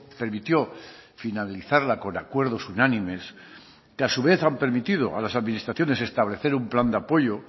permitió finalizarla con acuerdos unánimes que a su vez han permitido a las administraciones establecer un plan de apoyo